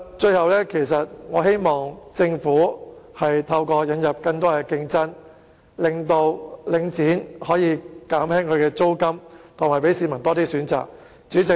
最後，我希望政府透過引入更多競爭，使領展減低租金，讓市民有更多選擇。